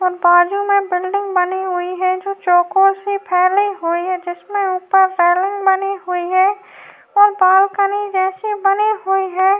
बाजू मे बिल्डिंग बनी हुई है जो चौकोर से फैली हुई है। जिसमे ऊपर रेलिंग बनी हुई है और बालकनी जैसे बनी हुई है।